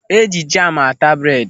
Eji jamu ata bred.